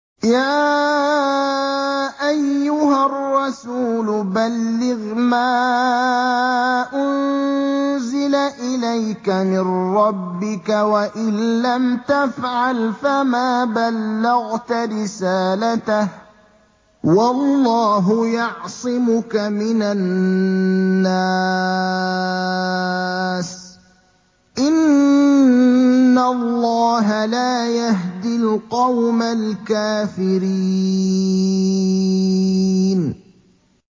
۞ يَا أَيُّهَا الرَّسُولُ بَلِّغْ مَا أُنزِلَ إِلَيْكَ مِن رَّبِّكَ ۖ وَإِن لَّمْ تَفْعَلْ فَمَا بَلَّغْتَ رِسَالَتَهُ ۚ وَاللَّهُ يَعْصِمُكَ مِنَ النَّاسِ ۗ إِنَّ اللَّهَ لَا يَهْدِي الْقَوْمَ الْكَافِرِينَ